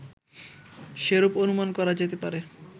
সেরূপ অনুমান করা যেতে পারে